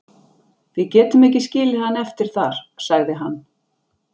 Við getum ekki skilið hann eftir þar, sagði hann.